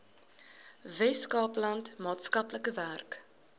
weskaapland maatskaplike werk